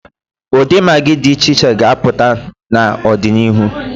Ụdị magị dị iche iche ga-apụta n'ọdịnihu.